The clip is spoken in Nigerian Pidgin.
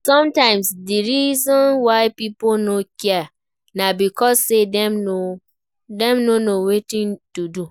Sometimes di reason why pipo no care na because sey dem no know wetin to do